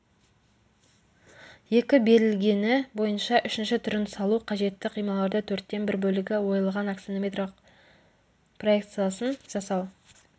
екі берілгені бойынша үшінші түрін салу қажетті қималарды төрттен бір бөлігі ойылған аксонометриялық проекциясын жасау